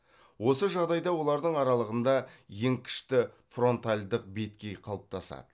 осы жағдайда олардың аралығында еңкішті фронтальдық беткей қалыптасады